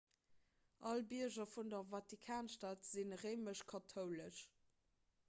all bierger vun der vatikanstad si réimesch-kathoulesch